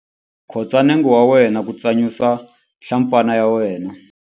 Khotsa nenge wa wena ku tsanyusa nhlampfana ya wena.